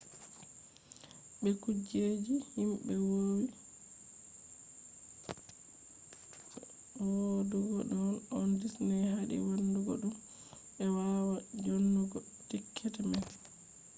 be do kuje je himbe vowi wadugo on disney hadi wadugo dum; be wawata djonnugo tiketi man